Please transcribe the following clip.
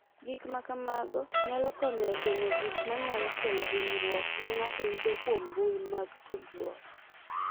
Gik ma kamago nyalo konyo e geng’o gik ma nyalo kelo hinyruok ma ng’ato yudo kuom mbui mag tudruok.